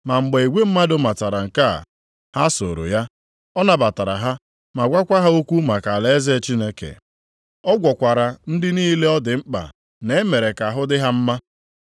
Ma mgbe igwe mmadụ matara nke a, ha sooro ya. Ọ nabatara ha ma gwakwa ha okwu maka alaeze Chineke. Ọ gwọkwara ndị niile ọ dị mkpa na-emere ka ahụ dị ha mma.